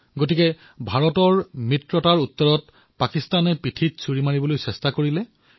আৰু সেয়ে ভাৰতৰ মিত্ৰতাৰ প্ৰত্যুত্তৰত পাকিস্তানে পিঠিৰ দিশৰ পৰা আক্ৰমণ কৰিবলৈ চেষ্টা কৰিলে